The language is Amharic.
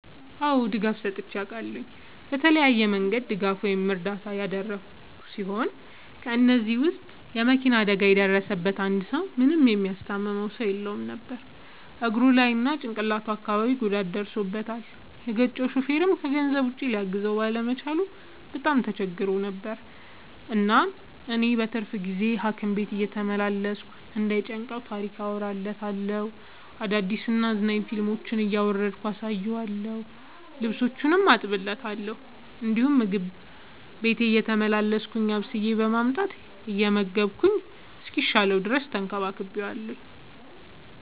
አዎ ድጋፍ ሰጥቼ አውቃለሁ። በተለያየ መንገድ ድጋፍ ወይም እርዳታ ያደረግሁ ሲሆን ከ እነዚህም ውስጥ የ መኪና አደጋ የደረሠበትን አንድ ሰው ምንም የሚያስታምመው ሰው የለውም ነበር እግሩ ላይ እና ጭቅላቱ አካባቢ ጉዳት ደርሶበታል። የገጨው ሹፌርም ከገንዘብ ውጪ ሊያግዘው ባለመቻሉ በጣም ተቸግሮ ነበር። እናም እኔ በትርፍ ጊዜዬ ሀኪም ቤት እየተመላለስኩ እንዳይ ጨንቀው ታሪክ አወራለታለሁ፤ አዳዲስ እና አዝናኝ ፊልሞችን እያወረድኩ አሳየዋለሁ። ልብሶቹን አጥብለታለሁ እንዲሁም ምግብ ቤቴ እየተመላለስኩ አብስዬ በማምጣት እየመገብኩ እስኪሻለው ተንከባክቤዋለሁ።